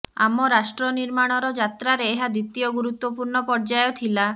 ଆମ ରାଷ୍ଟ୍ର ନିର୍ମାଣର ଯାତ୍ରାରେ ଏହା ଦ୍ୱିତୀୟ ଗୁରୁତ୍ୱପୂର୍ଣ୍ଣ ପର୍ଯ୍ୟାୟ ଥିଲା